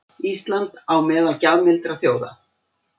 Ísland á meðal gjafmildra þjóða